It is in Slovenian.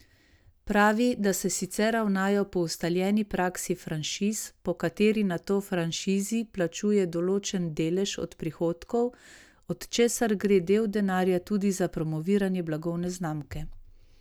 Pravi, da se sicer ravnajo po ustaljeni praksi franšiz, po kateri nato franšizij plačuje določen delež od prihodkov, od česar gre del denarja tudi za promoviranje blagovne znamke.